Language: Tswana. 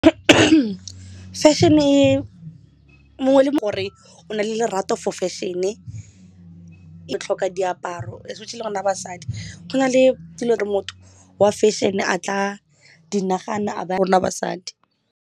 Fashion-e e mongwe le mongwe gore o na le lerato for fashion-e e tlhoka diaparo especially rona basadi go na le dilo re motho wa fashion a tla di nagana rona basadi.